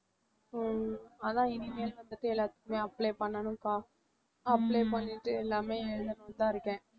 அஹ் அதான் இனிமேல் வந்துட்டு எல்லாத்துக்குமே apply பண்ணனும்க்கா apply பண்ணிட்டு எல்லாமே எழுதணும்னு தான் இருக்கேன்